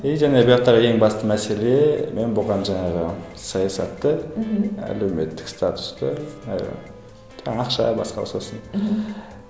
и жаңағы ең басты мәселе мен бұған жаңағы саясатты мхм әлеуметтік статусты ы жаңа ақша басқа сосын мхм